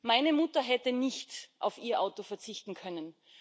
Meine Mutter hätte nicht auf ihr Auto verzichten können.